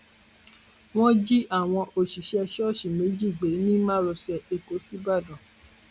wọn jí àwọn òṣìṣẹ ìsọǹsí méjì gbé ní márosẹ ẹkọ síbàdàn